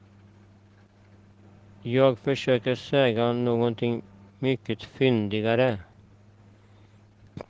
Jag försöker säga någonting mycket fyndigare.